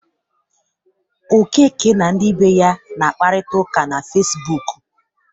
Okeke na ndị be ya na-akparita ụka na Fecibuuku.